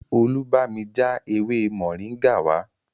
Olú bámi já ewé moringa wá